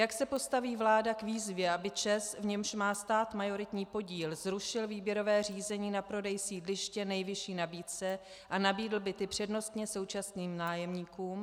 Jak se postaví vláda k výzvě, aby ČEZ, v němž má stát majoritní podíl, zrušil výběrové řízení na prodej sídliště nejvyšší nabídce a nabídl byty přednostně současným nájemníkům?